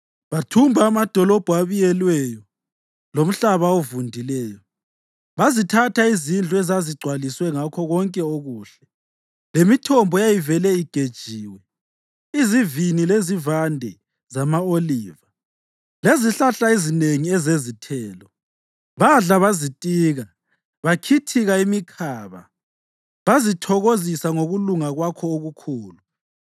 Bathumba amadolobho abiyelweyo lomhlaba ovundileyo; bazithatha izindlu ezazigcwaliswe ngakho konke okuhle, lemithombo eyayivele igejiwe, izivini, lezivande zama-oliva lezihlahla ezinengi ezezithelo. Badla bazitika bakhithika imikhaba; bazithokozisa ngokulunga kwakho okukhulu.